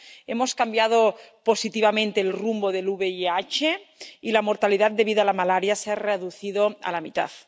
hemos cambiado positivamente el rumbo del VIH, y la mortalidad debida a la malaria se ha reducido a la mitad.